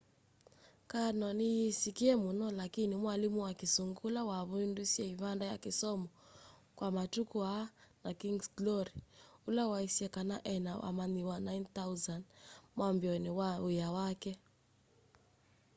karno ni yisikie muno lakini mwalimu wa kisungu ula wavundiesye ivanda ya kisomo kya matuku aa na king's glory ula waisye kana ena amanyiwa 9,000 mwambioni wa wia wake